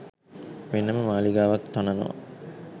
වෙන ම මාලිගාවක් තනවා